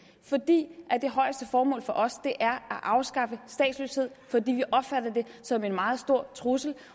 fordi det højeste formål for os er at afskaffe statsløshed fordi vi opfatter det som en meget stor trussel